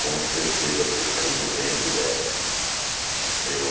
Com certeza, porque eu saí do ventre dela, assim. Meu